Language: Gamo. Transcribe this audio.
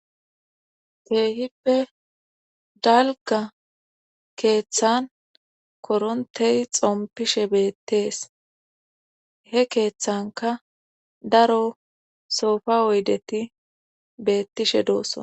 Keehippe dalga keeththan korontey xompishe beettees he keeththanka daro soofa oydeti beettishe doossona